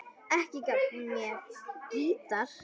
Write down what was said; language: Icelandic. Ekki gaf hún mér gítar.